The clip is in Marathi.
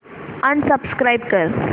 अनसबस्क्राईब कर